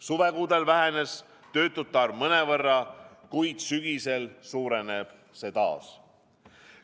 Suvekuudel vähenes töötute arv mõnevõrra, kuid sügisel suurenes see taas.